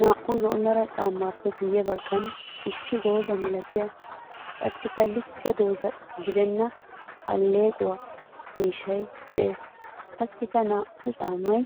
Naa'u zo'o meray caamappe guye bagan issi dooza milattiya qassikka likke dooza gidenna aleqquwa miishshay diccees. Qassikka naa'u caamay